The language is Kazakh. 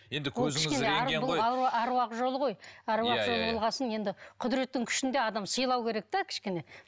аруақ жолы ғой аруақ жолы болған соң енді құдіреттің күшін де адам сыйлау керек те кішкене